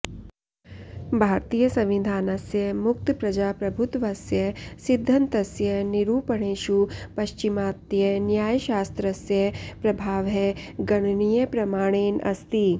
भारतीयसंविधानास्य मुक्तप्रजाप्रभुत्वस्य सिद्धन्तस्य निरूपणेषु पश्चिमात्यन्यायशास्त्रस्य प्रभावः गणनीयप्रमाणेन अस्ति